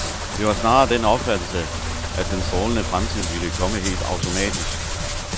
Det var snarere den opfattelse, at den strålende fremtid ville komme helt automatisk.